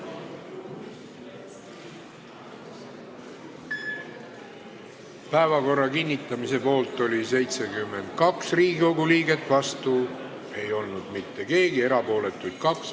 Hääletustulemused Päevakorra kinnitamise poolt oli 72 Riigikogu liiget, vastu ei olnud mitte keegi, erapooletuks jäi 2.